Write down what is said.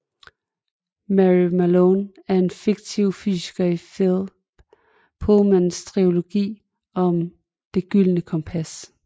Mary Malone er en fiktiv fysiker i Philip Pullmans trilogi om Det gyldne kompas